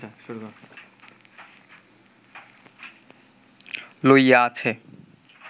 লইয়া আছে